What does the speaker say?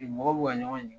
Mɔgɔw b'u ka ɲɔgɔn